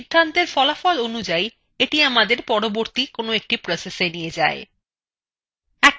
সিধান্তের ফলাফল অনুযাই এটি আমাদের পরবর্তী processএ নিয়ে যায়